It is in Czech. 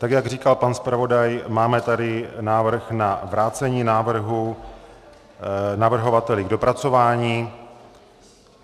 Tak jak říkal pan zpravodaj, máme tady návrh na vrácení návrhu navrhovateli k dopracování.